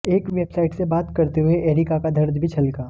एक वेबसाइट से बात करते हुए एरिका का दर्द भी छलका